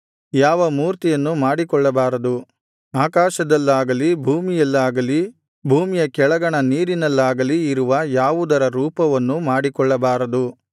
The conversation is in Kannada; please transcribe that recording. ಯಾವ ಮೂರ್ತಿಯನ್ನೂ ಮಾಡಿಕೊಳ್ಳಬಾರದು ಆಕಾಶದಲ್ಲಾಗಲಿ ಭೂಮಿಯಲ್ಲಾಗಲಿ ಭೂಮಿಯ ಕೆಳಗಣ ನೀರಿನಲ್ಲಾಗಲಿ ಇರುವ ಯಾವುದರ ರೂಪವನ್ನೂ ಮಾಡಿಕೊಳ್ಳಬಾರದು